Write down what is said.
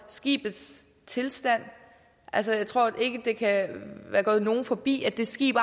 skibets tilstand altså jeg tror ikke det kan være gået nogen forbi at det skib